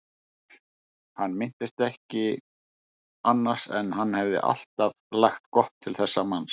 Hann minntist ekki annars en hann hefði alltaf lagt gott til þessa manns.